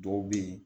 Dɔw bɛ yen